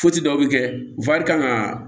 dɔ bɛ kɛ kan ka